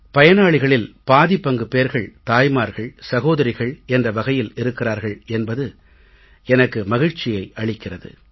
பயனாளிகளில் பாதி பங்குப் பேர்கள் தாய்மார்கள் சகோதரிகள் என்ற வகையில் இருக்கிறார்கள் என்பது எனக்கு மகிழ்ச்சியை அளிக்கிறது